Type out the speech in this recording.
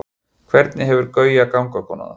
hvernig hefur gauja gangkona það